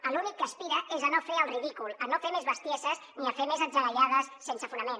a l’únic que aspira és a no fer el ridícul a no fer més bestieses ni a fer més atzagaiades sense fonament